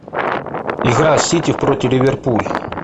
игра сити против ливерпуль